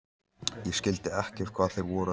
Ég skildi ekkert hvað þeir voru að segja.